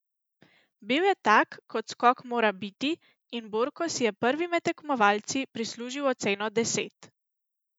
Bil je tak, kot skok mora biti, in Borko si je prvi med tekmovalci prislužil oceno deset.